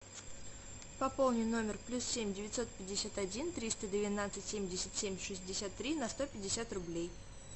пополни номер плюс семь девятьсот пятьдесят один триста двенадцать семьдесят семь шестьдесят три на сто пятьдесят рублей